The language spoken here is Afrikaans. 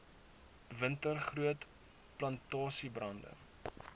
winter groot plantasiebrande